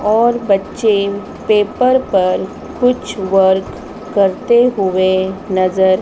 और बच्चे पेपर पर कुछ वर्क करते हुए नज़र।